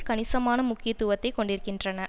கணிசமான முக்கியத்துவத்தை கொண்டிருக்கின்றன